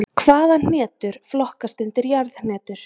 Hvaða hnetur flokkast undir jarðhnetur?